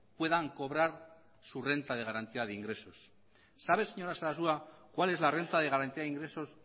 puedan cobrar su renta de garantía de ingresos sabe señora sarasua cuál es la renta de garantía de ingresos